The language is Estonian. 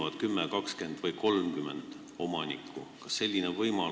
Kas 10, 20 või 30 omanikku saavad ühineda?